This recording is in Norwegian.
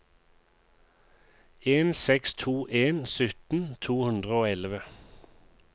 en seks to en sytten to hundre og elleve